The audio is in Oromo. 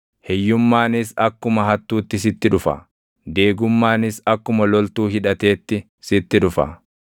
hiyyummaanis akkuma hattuutti sitti dhufa; deegummaanis akkuma loltuu hidhateetti sitti dhufa.